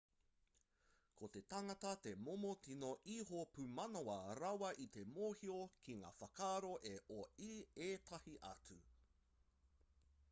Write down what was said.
ko te tangata te momo tino iho pumanawa rawa i te mōhio ki ngā whakaaro o ētahi atu